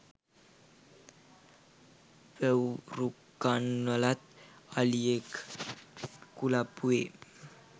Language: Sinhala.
වැව්රුකන්නලත් අලියෙක් කුලප්පු වේ